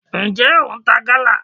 njẹ o ń ta gala?